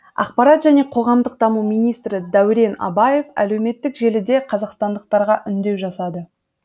ақпарат және қоғамдық даму министрі дәурен абаев әлеуметтік желіде қазақстандықтарға үндеу жасады